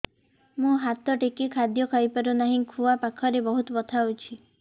ମୁ ହାତ ଟେକି ଖାଦ୍ୟ ଖାଇପାରୁନାହିଁ ଖୁଆ ପାଖରେ ବହୁତ ବଥା ହଉଚି